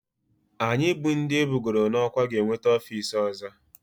Anyị bụ ndị ebugoro n'ọkwá ga-enweta ofiisi ọzọ